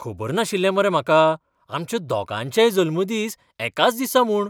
खबर नाशिल्लें मरे म्हाका आमच्या दोगांयचेय जल्मदीस एकाच दिसा म्हूण!